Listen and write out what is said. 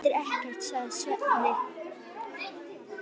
Það þýðir ekkert, sagði Svenni.